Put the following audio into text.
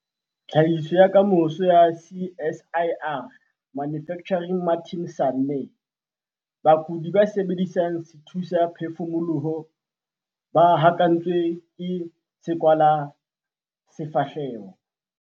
Tlhahiso ya Kamoso ya CSIR - Manufacturing Martin Sanne. Bakudi ba sebedisang sethusaphefumoloho ba hokahantswe ke sekwahelasefahleho.